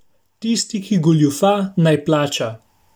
Tisti, ki goljufa, naj plača.